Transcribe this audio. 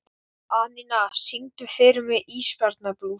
Anína, syngdu fyrir mig „Ísbjarnarblús“.